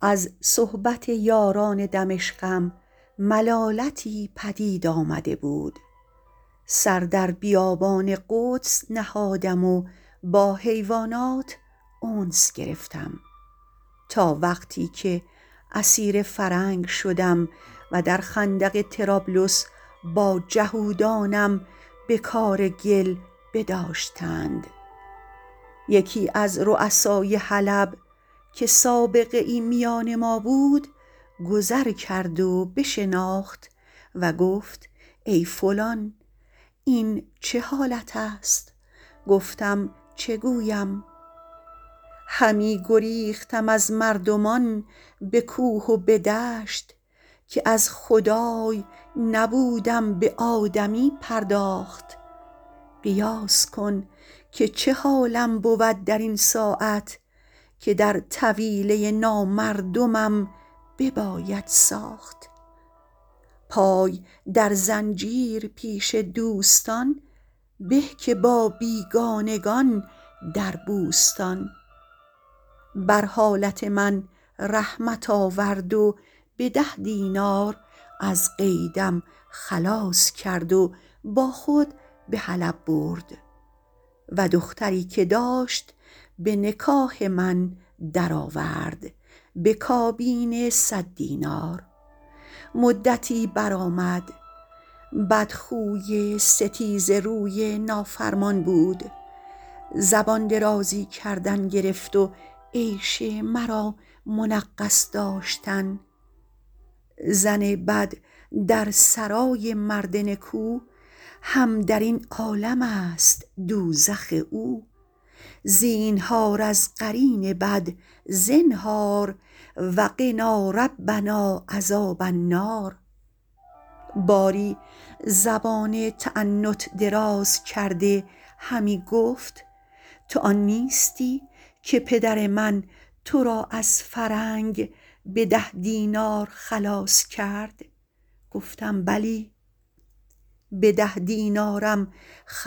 از صحبت یاران دمشقم ملالتی پدید آمده بود سر در بیابان قدس نهادم و با حیوانات انس گرفتم تا وقتی که اسیر فرنگ شدم در خندق طرابلس با جهودانم به کار گل بداشتند یکی از رؤسای حلب که سابقه ای میان ما بود گذر کرد و بشناخت و گفت ای فلان این چه حالت است گفتم چه گویم همی گریختم از مردمان به کوه و به دشت که از خدای نبودم به آدمی پرداخت قیاس کن که چه حالم بود در این ساعت که در طویله نامردمم بباید ساخت پای در زنجیر پیش دوستان به که با بیگانگان در بوستان بر حالت من رحمت آورد و به ده دینار از قیدم خلاص کرد و با خود به حلب برد و دختری که داشت به نکاح من در آورد به کابین صد دینار مدتی برآمد بدخوی ستیزه روی نافرمان بود زبان درازی کردن گرفت و عیش مرا منغص داشتن زن بد در سرای مرد نکو هم در این عالم است دوزخ او زینهار از قرین بد زنهار و قنا ربنا عذاب النار باری زبان تعنت دراز کرده همی گفت تو آن نیستی که پدر من تو را از فرنگ باز خرید گفتم بلی من آنم که به ده دینار از قید فرنگم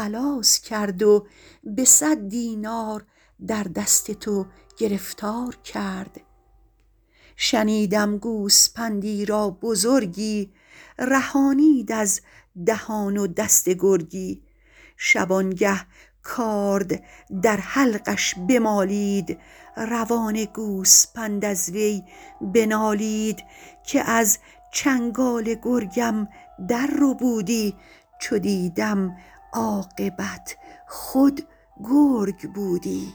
بازخرید و به صد دینار به دست تو گرفتار کرد شنیدم گوسپندی را بزرگی رهانید از دهان و دست گرگی شبانگه کارد در حلقش بمالید روان گوسپند از وی بنالید که از چنگال گرگم در ربودی چو دیدم عاقبت خود گرگ بودی